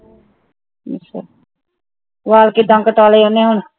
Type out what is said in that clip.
ਅੱਛਾ ਬਾਲ ਕਿਦਾਂ ਕਟਾ ਲੇ ਓਹਨੇ ਹੁਣ